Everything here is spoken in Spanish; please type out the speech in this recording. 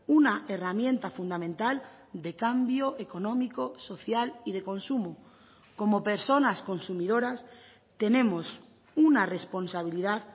una herramienta fundamental de cambio económico social y de consumo como personas consumidoras tenemos una responsabilidad